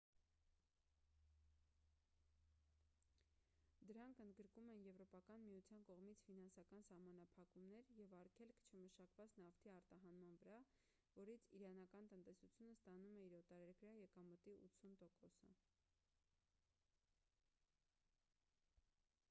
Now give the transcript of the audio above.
դրանք ընդգրկում են եվրոպական միության կողմից ֆինանսական սահմանափակումներ և արգելք չմշակված նավթի արտահանման վրա որից իրանական տնտեսությունը ստանում է իր օտարերկրյա եկամտի 80%-ը: